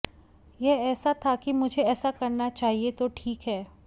यह ऐसा था कि मुझे ऐसा करना चाहिए तो ठीक है